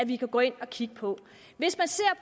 vi kan gå ind og kigge på hvis man ser